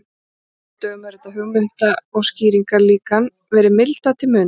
Nú á dögum hefur þetta hugmynda- og skýringarlíkan verið mildað til muna.